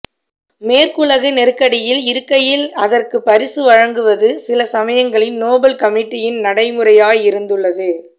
மேற்குலகு நெருக்கடியில் இருக்கையில் அதற்குப் பரிசு வழங்குவது சில சமயங்களில் நொபெல் கமிட்டியின் நடைமுறையாயிருந்துள்ளது